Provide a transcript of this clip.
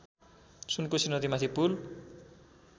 सुनकोशी नदीमाथि पुल